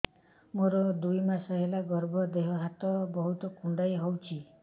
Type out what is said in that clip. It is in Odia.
ମୋର ଦୁଇ ମାସ ହେଲା ଗର୍ଭ ଦେହ ହାତ ବହୁତ କୁଣ୍ଡାଇ ହଉଚି